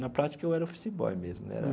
Na prática, eu era office boy mesmo né era.